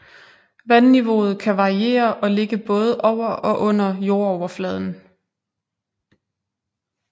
Vandniveauet kan variere og ligge både over og under jordoverfladen